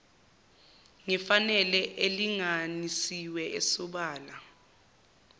ngefanele elinganisiwe esobala